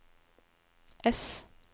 ess